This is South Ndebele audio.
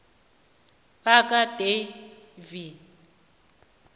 bakadavi